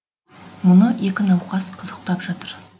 мұны екі науқас қызықтап жатыр